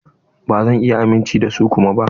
Ba zan iya amince da su kuma ba.